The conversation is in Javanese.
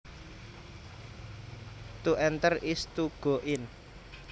To enter is to go in